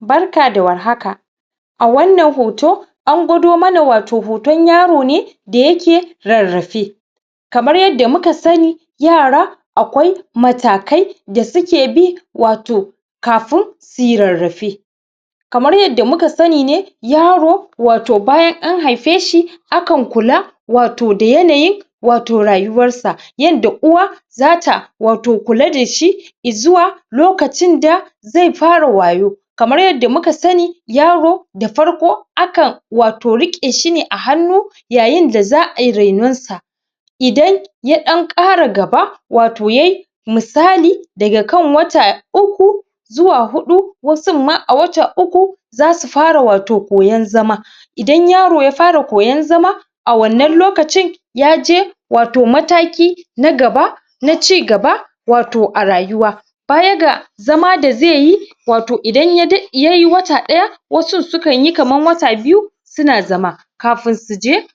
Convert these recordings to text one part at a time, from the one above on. barka da war haka a wannan hoto angwado mana wato hotan yaro ne da yake rarrafe kamar yadda muka sani yara aƙwai matakai da suke bi wato kafin suyi rarrafe kamar yadda muka sani yaro wato bayan an haifeshi akan kula wato da yanayin wato rayuwarsa yadda uwa zata wato kula dashi i zuwa lokacin da zai fara wayo kamar yadda muka sani yaro da farko akan wato riƙe shi ne wato a hannu yayin da za ai rainon sa idan y ɗan ƙara gaba wato yayi misali daga kan wata uku zuwa huɗu wasun ma a wata uku zasu fara wato koyan zama idan yaro ya fara koyan zama a wannan lokacin yaje wato mataki na gaba naci gaba wato a rayuwa baya ga zama da zaiyi wato idan yayi wata ɗaya wasun sukanyi kaman wata biyu suna zama kafin suje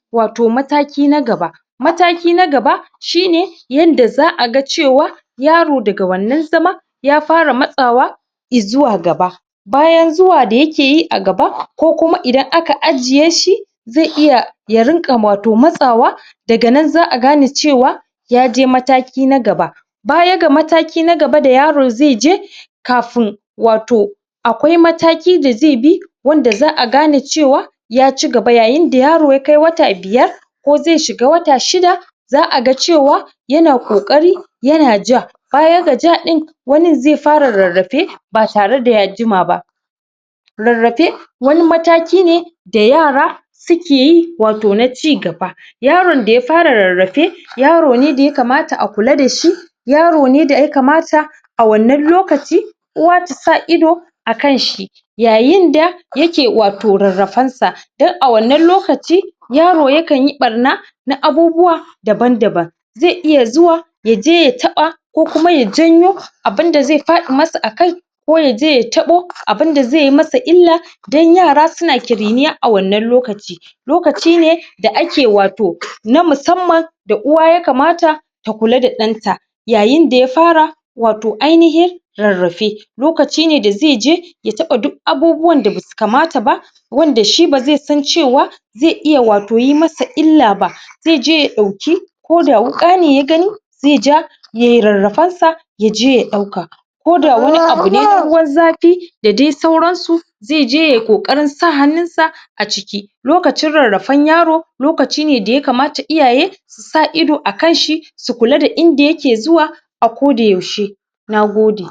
mataki na gaba mataki na gaba shine yanda za a ga cewa yaro da ga wannan zama ya fara matsawa izuwa gaba bayan zuwa da yakeyi a gaba ko kuma idan aka ajje shi zai iya ya riƙa wato matsawa daga nan za a gane cewa yaje mataki na gaba baya ga mataki na gaba da yaro zaije kafin wato aƙwai mataki da zaibi wanda za a gane cewa ya cigaba yayin da yaro ya kai wata biyar ko zai shiga wata shida za a ga cewa yana ƙoƙari yana ja baya ga ja ɗin wanin zai fara rarrafe ba tare da ya jima ba rarrafe wani mataki ne da yara suke yi wato na cigaba yaron da ya fara rarrafe yaro ne daya kamata a kula dashi yaro ne daya kamata a wannan lokaci uwa tasa ido a kanshi yayin da yake wato rarrafansa dan a wannan lokaci yaro yakanyi ɓarnana abubuwa danan daban zai iya zuwa yaje ya taɓa ko kuma ya janyo abunda zai faɗi masa a kai ko yaje ya taɓu abunda zai masa illa dan yara suna ƙiriniya a wannan lokaci lokaci ne da ake wato na musamman da uwa ya kamata ta kula da ɗanta yayin da ya fara wato ainahin rarrafe lokaci ne da zaije ya taɓa duk abubuwan da basu kamta ba wanda shi bazai san cewa zai iya wato yi masa illa ba zai je ya ɗauki ko da wuƙa ne yagani zai ja yayai rarrafansa yaje ya ɗauka ko da wani abune ruwan zafi da dai sauransu zaije yayi ƙoƙarin sa hanninsa a ciki lokacin rarrafan yaro lokaci ne da ya kamata iyaye susa ido akanshi su kula da inda yake zuwa a ko da yaushe nagode